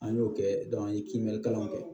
An y'o kɛ an ye kibinɛ kalan kɛ